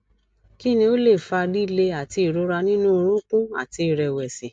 kini o le fa lile ati irora ninu orunkun àti ìrẹwẹsì